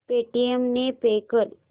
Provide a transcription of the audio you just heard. Paytm ने pay कर